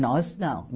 Nós não.